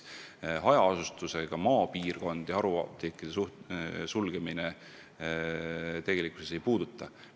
Hajaasustusega maapiirkondi haruapteekide sulgemise kohustus ei puuduta.